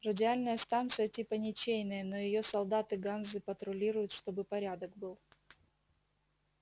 радиальная станция типа ничейная но её солдаты ганзы патрулируют чтобы порядок был